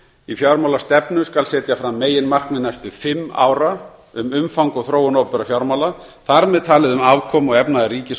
í fjármálastefnu skal setja fram meginmarkmið næstu fimm ára um umfang og þróun opinberra fjármála þar með talið um afkomu og efnahag ríkis og